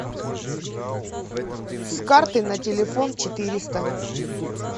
с карты на телефон четыреста